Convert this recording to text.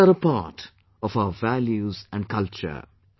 These are a part of our values and culture